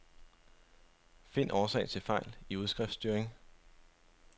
Find årsag til fejl i udskriftstyring.